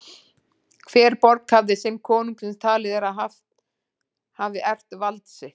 Hver borg hafði sinn konung sem talið er að hafi erft vald sitt.